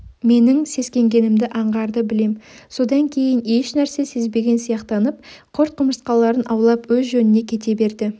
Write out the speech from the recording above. менің сескенгенімді аңғарды білем содан кейін ешнәрсе сезбеген сияқтанып құрт-құмырсқаларын аулап өз жөніне кете берді